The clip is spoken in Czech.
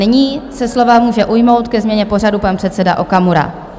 Nyní se slova může ujmout ke změně pořadu pan předseda Okamura.